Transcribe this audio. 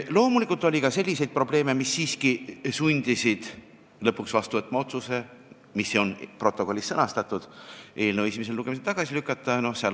Loomulikult oli ka selliseid probleeme, mis siiski sundisid lõpuks vastu võtma otsuse, mis on protokollis sõnastatud: teha ettepanek eelnõu esimesel lugemisel tagasi lükata.